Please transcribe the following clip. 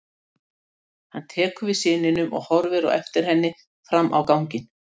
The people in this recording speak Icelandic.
Hann tekur við syninum og horfir á eftir henni fram á ganginn.